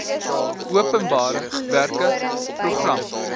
openbare werke program